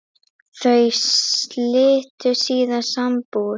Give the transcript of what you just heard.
Þau slitu síðar sambúð.